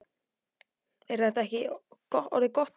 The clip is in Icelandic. Er þetta ekki orðið gott í kvöld?